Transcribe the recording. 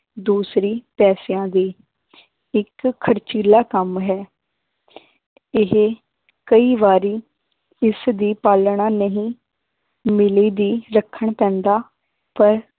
ਦੂਸਰੀ ਪੈਸਿਆਂ ਦੀ ਇੱਕ ਖ਼ਰਚੀਲਾ ਕੰਮ ਹੈ ਇਹ ਕਈ ਵਾਰੀ ਇਸਦੀ ਪਾਲਣਾ ਨਹੀਂ ਮਿਲਦੀ ਰੱਖਣ ਪੈਂਦਾ ਪਰ